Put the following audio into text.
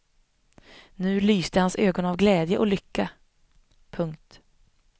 Nu lyste hans ögon av glädje och lycka. punkt